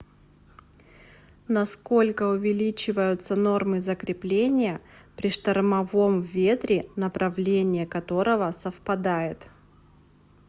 на сколько увеличиваются нормы закрепления при штормовом ветре направление которого совпадает